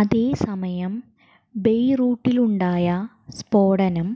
അതേസമയം ബെയ്റൂട്ടിലുണ്ടായ സ്ഫോടനം